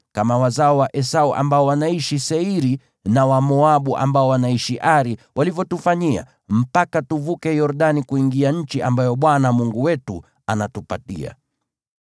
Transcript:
kama wazao wa Esau ambao wanaishi Seiri na Wamoabu ambao wanaishi Ari walivyotufanyia, mpaka tuvuke Yordani kuingia nchi ambayo Bwana Mungu wetu anatupatia.”